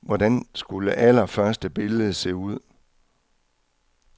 Hvordan skulle allerførste billede se ud?